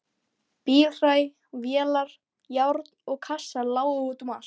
Bílhræ, vélar, járn og kassar lágu út um allt.